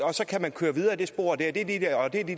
og så kan man køre videre i det spor det